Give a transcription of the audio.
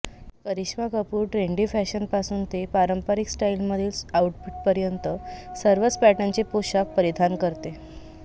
Karishma Kapoor trendy फॅशनपासून ते पारंपरिक स्टाइलमधील आउटफिटपर्यंत सर्वच पॅटर्नचे पोषाख परिधान करते